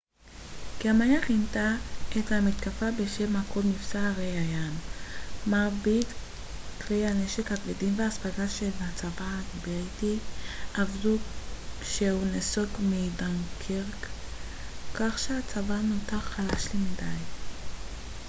גרמניה כינתה את המתקפה בשם הקוד מבצע ארי הים מרבית כלי הנשק הכבדים והאספקה של הצבא הבריטי אבדו כשהוא נסוג מדנקירק כך שהצבא נותר חלש למדי